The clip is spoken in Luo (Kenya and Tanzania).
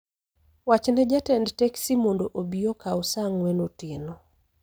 Wach ne jatend teksi mondo obi okaw saa ang'wen otieno